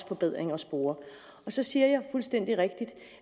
forbedringer at spore så siger jeg fuldstændig rigtigt